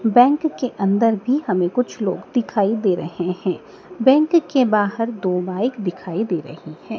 Bank के अंदर भी हमे कुछ लोग दिखाई दे रहे हैं बैंक के बाहर दो बाइक दिखाई दे रही हैं।